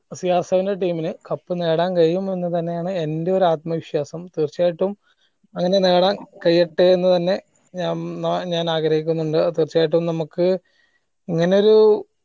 CRseven ന്റെ team നു cup നേടാൻ കഴിയും എന്ന് തന്നെ ആണ്‌ എന്റെ ഒരു ആത്മ വിശ്വാസം തീർച്ചയായിട്ടും അങ്ങനെ നേടാൻ കഴിയട്ടെ എന്ന് തന്നെ ഞ മ് ഞാൻ ആഗ്രഹിക്കിന്നിണ്ട് തീർച്ചയായിട്ടും നമ്മക്ക് അങ്ങനെ ഒരു